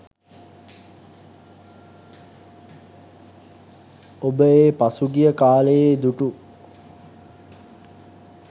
ඔබ ඒ පසුගිය කාලයේ දුටු